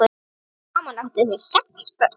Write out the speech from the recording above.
Saman áttu þau sex börn.